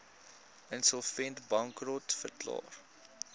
insolvent bankrot verklaar